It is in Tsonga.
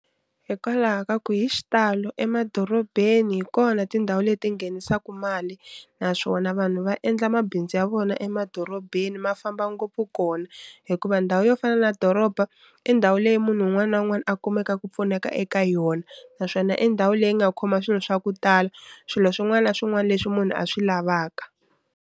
Hikwalaho ka ku hi xitalo emadorobeni hi kona tindhawu leti nghenisaku mali naswona vanhu va endla mabindzu ya vona emadorobeni ma famba ngopfu kona, hi ku va ndhawu yo fana na doroba i ndhawu leyi munhu wun'wani na wun'wani a kumeka ku pfuneka eka yona, naswona i ndhawu leyi nga khoma swilo swa ku tala swilo swin'wana na swin'wana leswi munhu a swi lavaka.